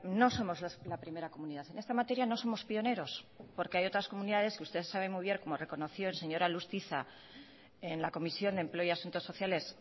no somos la primera comunidad en esta materia no somos pioneros porque hay otras comunidades que usted sabe muy bien como reconoció el señor alustiza en la comisión de empleo y asuntos sociales